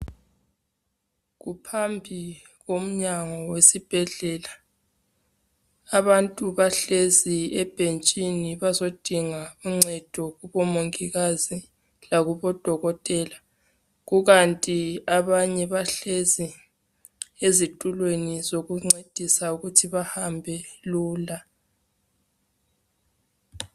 Kuphambi komnyango wesibhedlela abantu bahlezi ebhentshini bazodinga uncedo kubomongikazi lakubo dokotela kukanti abanye bahlezi ezitulweni zokuncedisa ukuthi bahambe lula